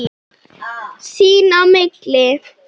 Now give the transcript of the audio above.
Sín á milli.